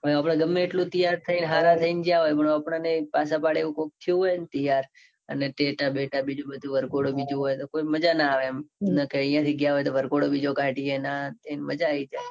અને આપણે ગમે એટલુ તૈયાર થઈને હાર થઈને જ્યાં હોઈએ. પણ આપદને પાંચ પડે એવું કોઈક થયું હોય. ન તૈયાર અને ટેટા બેટા બીજું બધું વર્ગોડું બીજું હોય તો મજા ના આવે એમ. નકે અહીંયા થી ગયા હોઈએ તો વર્ગોડું બીજું કાઢીયે આન તે મજા આવી જાય.